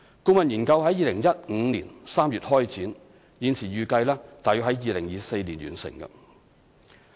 顧問研究在2015年3月開展，現時預計約於2024年完成。